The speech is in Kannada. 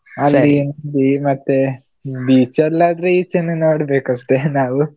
ಮತ್ತೆ beach ಎಲ್ಲಾ ಆದ್ರೆ ಈಚೆನೆ ನೋಡ್ಬೇಕಷ್ಟೆ ನಾವು.